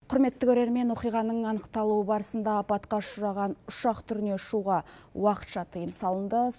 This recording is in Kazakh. құрметті көрермен оқиғаның анықталу барысында апатқа ұшыраған ұшақ түріне ұшуға уақытша тыйым салынды